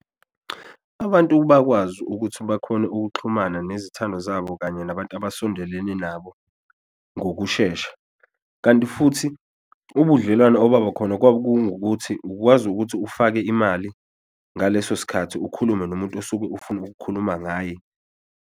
Abantu bakwazi ukuthi bakhone ukuxhumana nezithandwa zabo kanye nabantu abasondelene nabo ngokushesha, kanti futhi ubudlelwano obaba khona kwakungukuthi ukwazi ukuthi ufake imali ngaleso sikhathi ukhulume nomuntu osuke ufuna ukukhuluma ngaye.